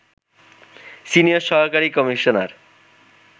senior সহকারী commissioner